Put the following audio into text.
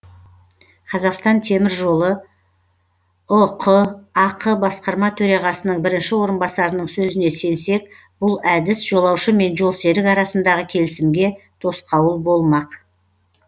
қазақстан темір жолы ұқ ақ басқарма төрағасының бірінші орынбасарының сөзіне сенсек бұл әдіс жолаушы мен жолсерік арасындағы келісімге тосқауыл болмақ